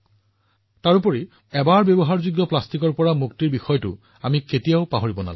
আৰু হয় যেতিয়া মই পৰিষ্কাৰ পৰিচ্ছন্নতাৰ কথা কও অনুগ্ৰহ কৰি এবাৰ ব্যৱহৃত প্লাষ্টিকৰ পৰা পৰিত্ৰাণ পোৱাৰ কথা নাপাহৰিব